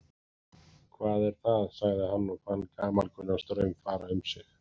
Hvað er það sagði hann og fann gamalkunnan straum fara um sig.